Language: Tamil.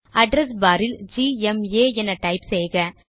அட்ரெஸ் பார் இல் ஜிஎம்ஏ என டைப் செய்க